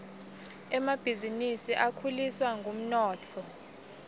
emabhisinisi akhuliswa ngumnotfo